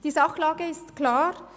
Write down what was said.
Die Sachlage ist klar: